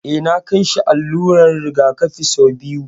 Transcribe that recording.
Eh, na kai shi allular rigakafi sau biyu